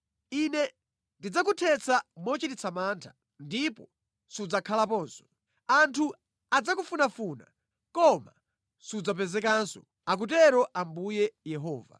Ine ndidzakuthetsa mochititsa mantha, ndipo sudzakhalaponso. Anthu adzakufunafuna, koma sudzapezekanso, akutero Ambuye Yehova.”